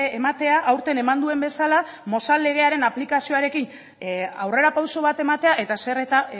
ematea aurten eman duen bezala mozal legearen aplikazioarekin aurrerapauso bat ematea eta zer eta